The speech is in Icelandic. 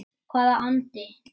Hvaða andi?